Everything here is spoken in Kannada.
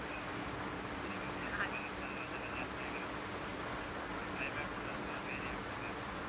ಅಂದ್ರೆ ಈವಾಗ್ ಸ್ವಲ pollution ನ್ನು ಅದೆಲ್ಲ ಜಾಸ್ತಿ ಆಗಿರೋದ್ರಿಂದ, ಸ್ವಲ್ಪ climate ಸ್ವಲ್ಪ vary ಆಗ್ತಿದೆ ಇವಾಗ.